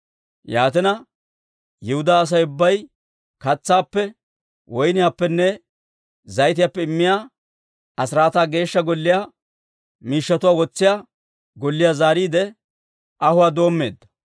Yaatina, Yihudaa Asay ubbay katsaappe, woyniyaappenne zayitiyaappe immiyaa asiraataa Geeshsha Golliyaa miishshatuwaa wotsiyaa golliyaa zaariide, ahuwaa doommeedda.